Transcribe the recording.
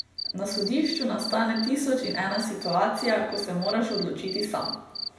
Na sodišču nastane tisoč in ena situacija, ko se moraš odločiti sam.